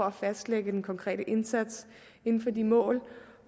at fastlægge den konkrete indsats inden for de mål